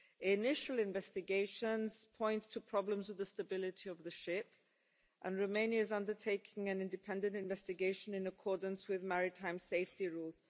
Initial investigations point to problems with the stability of the ship, and Romania is undertaking an independent investigation in accordance with maritime safety rules.